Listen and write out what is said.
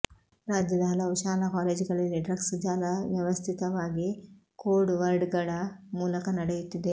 ರಾಜ್ಯದ ಹಲವು ಶಾಲಾ ಕಾಲೇಜುಗಳಲ್ಲಿ ಡ್ರಗ್ಸ್ ಜಾಲ ವ್ಯವಸ್ಥಿತವಾಗಿ ಕೋಡ್ ವರ್ಡ್ಗಳ ಮೂಲಕ ನಡೆಯುತ್ತಿದೆ